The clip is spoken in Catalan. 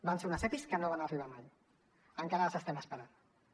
van ser uns epis que no van arribar mai encara les esperem